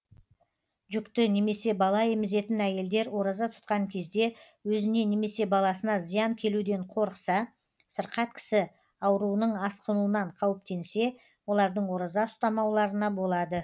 жүкті немесе бала емізетін әйелдер ораза тұтқан кезде өзіне немесе баласына зиян келуден қорықса сырқат кісі ауруының асқынуынан қауіптенсе олардың ораза ұстамауларына болады